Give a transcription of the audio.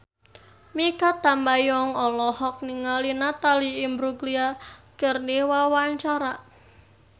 Mikha Tambayong olohok ningali Natalie Imbruglia keur diwawancara